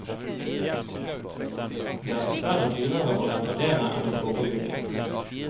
Det er dessverre dyrere å reparere enn å forebygge.